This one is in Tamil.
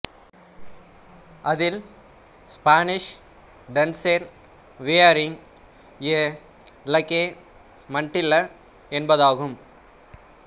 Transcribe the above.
அதில் Spanish dancer wearing a lace mantilla என்பதாகும்